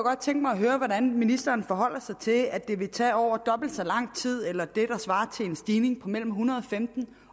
godt tænke mig at høre hvordan ministeren forholder sig til at det vil tage over dobbelt så lang tid eller det der svarer til en stigning på mellem en hundrede og femten